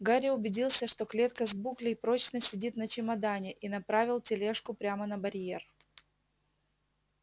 гарри убедился что клетка с буклей прочно сидит на чемодане и направил тележку прямо на барьер